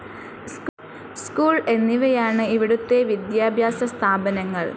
School എന്നിവയാണ് ഇവിടുത്തെ വിദ്യാഭ്യാസ സ്ഥാപനങ്ങൾ.